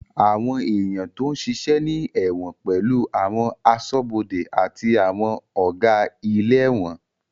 Àwọn èèyàn tó ń ṣiṣẹ́ ní ẹ̀wọ̀n pẹ̀lú àwọn aṣọ́bọdè àti àwọn Ọ̀gá ilé ẹ̀wọ̀n